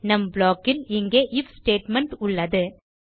நம் ப்ளாக் இல் இங்கே ஐஎஃப் ஸ்டேட்மெண்ட் உள்ளது